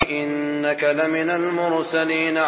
إِنَّكَ لَمِنَ الْمُرْسَلِينَ